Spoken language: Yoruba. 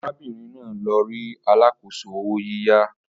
Arábìnrin náà lọ rí alákòóso owó yíyá